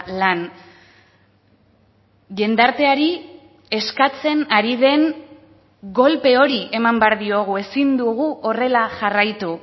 lan jendarteari eskatzen ari den golpe hori eman behar diogu ezin dugu horrela jarraitu